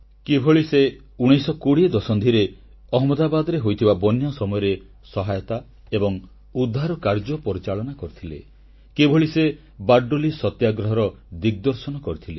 କିଭଳି ସେ 1920 ଦଶନ୍ଧିରେ ଅହମଦାବାଦରେ ହୋଇଥିବା ବନ୍ୟା ସମୟରେ ସହାୟତା ଏବଂ ଉଦ୍ଧାର କାର୍ଯ୍ୟ ପରିଚାଳନା କରିଥିଲେ କିଭଳି ସେ ବରଡୋଲିବର୍ଦ୍ଦୋଳିସତ୍ୟାଗ୍ରହର ଦିଗଦର୍ଶନ କରିଥିଲେ